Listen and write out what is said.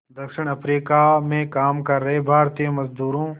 दक्षिण अफ्रीका में काम कर रहे भारतीय मज़दूरों